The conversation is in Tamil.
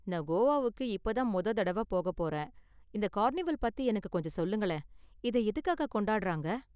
நான் கோவாவுக்கு இப்போ தான் மொத தடவ போக போறேன், இந்த கார்னிவல் பத்தி எனக்கு கொஞ்சம் சொல்லுங்களேன், இதை எதுக்காக கொண்டாடுறாங்க?